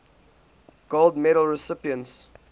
gold medal recipients